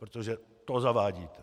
Protože to zavádíte.